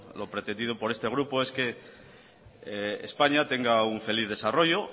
lo pretendido por este grupo es que españa tenga un feliz desarrollo